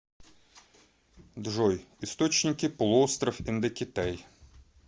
джой источники полуостров индокитай